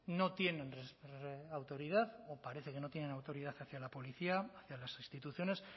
no tienen autoridad o parece que no tienen autoridad hacia la policía hacia las instituciones